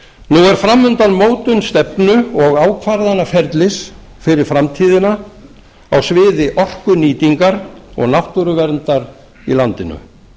er fram undan mótun stefnu og ákvarðanaferlis fyrir framtíðina á sviði orkunýtingar og náttúruverndar í landinu